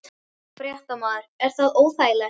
Fréttamaður: Er það óþægilegt?